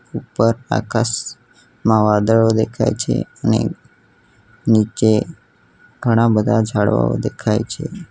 ઉપર આકાશમાં વાદળો દેખાય છે અને નીચે ઘણા બધા ઝાડવાઓ દેખાય છે.